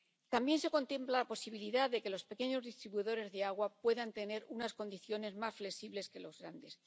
También se contempla la posibilidad de que los pequeños distribuidores de agua puedan tener unas condiciones más flexibles que los grandes.